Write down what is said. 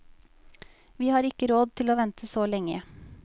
Vi har ikke råd til å vente så lenge.